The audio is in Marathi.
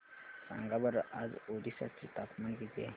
सांगा बरं आज ओरिसा चे तापमान किती आहे